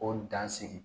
O dan sigi